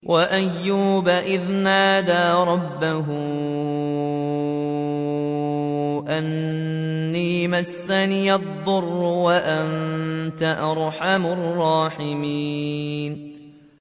۞ وَأَيُّوبَ إِذْ نَادَىٰ رَبَّهُ أَنِّي مَسَّنِيَ الضُّرُّ وَأَنتَ أَرْحَمُ الرَّاحِمِينَ